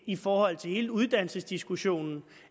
i forhold til hele uddannelsesdiskussionen